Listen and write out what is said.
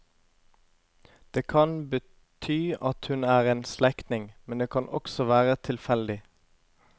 Det kan bety at hun er en slektning, men det kan også være tilfeldig.